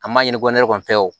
An m'a ɲini ko kɔni